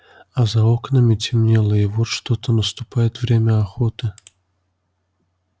а за окнами темнело и вот что-то наступит время охоты